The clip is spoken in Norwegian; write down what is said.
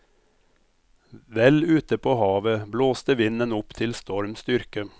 Vel ute på havet blåste vinden opp til storm styrke.